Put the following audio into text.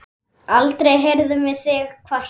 Aldrei heyrðum við þig kvarta.